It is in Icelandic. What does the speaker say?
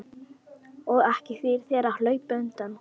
Og ekki þýðir þér að hlaupa undan.